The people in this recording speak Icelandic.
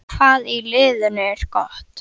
Hvað í liðinu er gott?